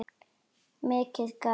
Mikið gat